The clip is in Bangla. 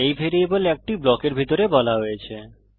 এই ভ্যারিয়েবল একটি ব্লকের ভিতরে বলা হয়েছে